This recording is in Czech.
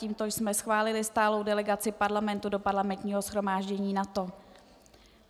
Tímto jsme schválili stálou delegaci Parlamentu do Parlamentního shromáždění NATO.